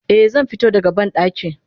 Eh zanfito da ga bandaki.